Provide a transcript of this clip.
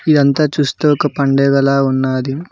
అదంతా చూస్తూ ఒక పండుగ లా ఉన్నాది.